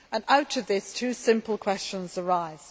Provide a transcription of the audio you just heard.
Out of this, two simple questions arise.